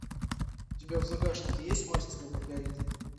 у тебя в загашнике есть мастер и маргарита